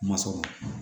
Ma sɔrɔrɔ